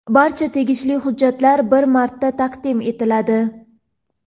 Barcha tegishli hujjatlar bir marta taqdim etiladi.